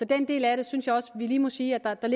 den del af det synes jeg også lige vi må sige at der